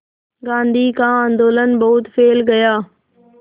गांधी का आंदोलन बहुत फैल गया